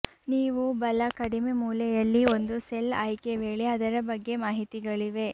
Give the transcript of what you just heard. ನೀವು ಬಲ ಕಡಿಮೆ ಮೂಲೆಯಲ್ಲಿ ಒಂದು ಸೆಲ್ ಆಯ್ಕೆ ವೇಳೆ ಅದರ ಬಗ್ಗೆ ಮಾಹಿತಿಗಳಿವೆ